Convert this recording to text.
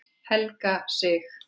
Helga Sig.